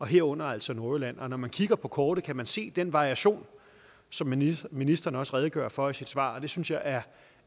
herunder altså nordjyllands politi og når man kigger på kortet kan man se den variation som ministeren ministeren også redegør for i sit svar det synes jeg er